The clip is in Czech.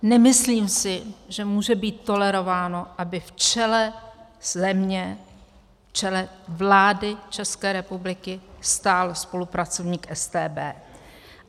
Nemyslím si, že může být tolerováno, aby v čele země, v čele vlády České republiky stál spolupracovník StB.